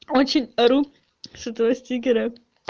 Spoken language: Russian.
очень ору с этого стикера